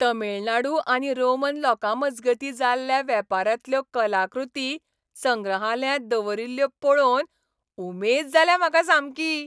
तमीळनाडू आनी रोमन लोकांमजगतीं जाल्ल्या वेपारांतल्यो कलाकृती संग्रहालयांत दवरील्ल्यो पळोवन उमेद जाल्या म्हाका सामकी.